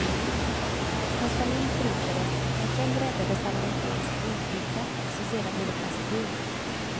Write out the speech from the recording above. Hans familj förintades, men själv räddades han av en polsk bondflicka som sedan blivit hans fru.